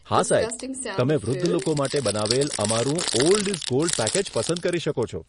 હા, સાહેબ. તમે વૃદ્ધ લોકો માટે બનાવેલ અમારું 'ઓલ્ડ ઇઝ ગોલ્ડ' પેકેજ પસંદ કરી શકો છો.